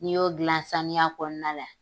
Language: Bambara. N'i y'o gilan sanuya kɔnɔna la.